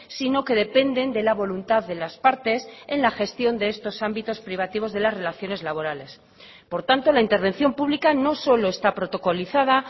sino que dependen de la voluntad de las partes en la gestión de estos ámbitos privativos de las relaciones laborales por tanto la intervención pública no solo está protocolizada